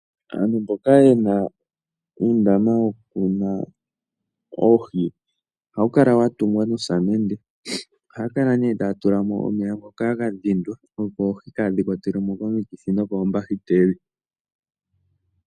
Aantu mboka yena uundama woku muna oohi, ohawu kala wa tungwa nosamende. Ohaya kala nee taya tulamo omeya ngoka ga dhindwa, opo oohi kaadhi kwatelwe mo komikithi nokoombahiteli.